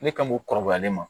Ne ka mo kɔrɔbayalen ma